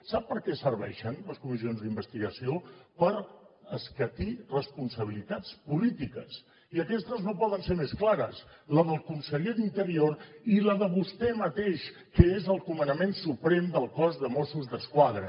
sap per què serveixen les comissions d’investigació per escatir responsabilitats polítiques i aquestes no poden ser més clares la del conseller d’interior i la de vostè mateix que és el comanament suprem del cos de mossos d’esquadra